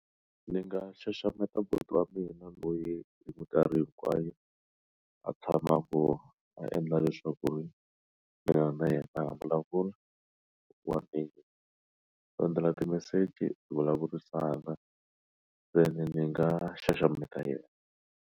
Ndzi nga xaxameta buti wa mina loyi hi minkarhi hinkwayo a tshama a vona a endla leswaku ri mina na yena vulavula wa hi ku endzela timeseji ti vulavurisana ntsena ndzi nga xaxameta yena.